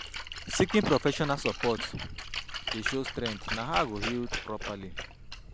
Seeking professional support dey show strength; na how I go heal properly.